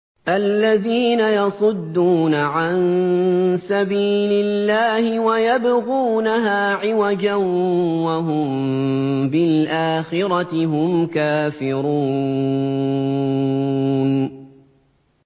الَّذِينَ يَصُدُّونَ عَن سَبِيلِ اللَّهِ وَيَبْغُونَهَا عِوَجًا وَهُم بِالْآخِرَةِ هُمْ كَافِرُونَ